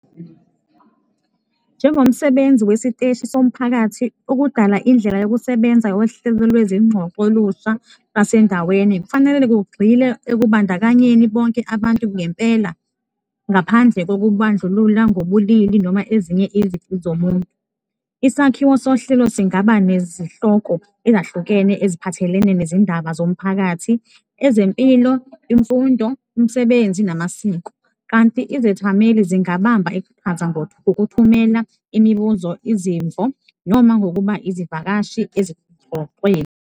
Njengomsebenzi wesiteshi somphakathi, ukudala indlela yokusebenza yohlelo lwezingxoxo olusha lwasendaweni kufanele kugxile ekubandakanyeni bonke abantu ngempela ngaphandle kokubandlulula ngobulili noma ezinye izici zomuntu. Isakhiwo sohlelo singaba nezihloko ezahlukene eziphathelene nezindaba zomphakathi, ezempilo, imfundo, umsebenzi namasiko, kanti izethameli zingabamba iqhaza ngokuthumela imibuzo, izimvo noma ngokuba izivakashi ezingxoxweni.